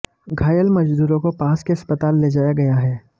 घायल मजदूरों को पास के अस्पताल ले जाया गया है